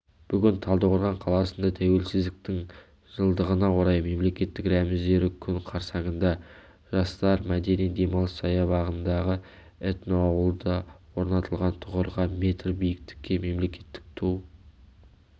бүгін талдықорған қаласында тәуелсіздіктің жылдығына орай мемлекеттік рәміздері күні қарсаңында жастар мәдени-демалыс саябағындағы этноауылда орнатылған тұғырға метр биіктікке мемлекеттік ту